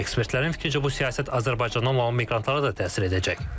Ekspertlərin fikrincə bu siyasət Azərbaycandan olan miqrantlara da təsir edəcək.